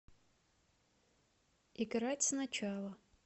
играть сначала